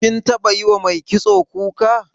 Kin taɓa yiwa mai kitso kuka?